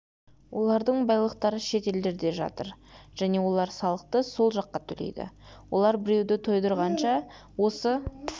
олардың байлықтары шет елдерде жатыр және олар салықты сол жаққа төлейді олар біреуді тойдырғанша осы